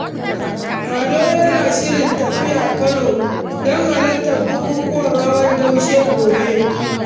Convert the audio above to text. Ado yana shirin tafiya Kano don halartar bukukkuwan Hawan Daushe gobe.